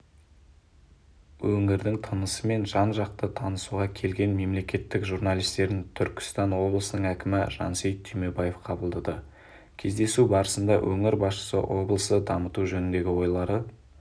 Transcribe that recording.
өңірдің тынысымен жан-жақты танысуға келген мемлекеттің журналистерін түркістан облысының әкімі жансейіт түймебаев қабылдады кездесу барысында өңір басшысы облысты дамыту жөніндегі ойлары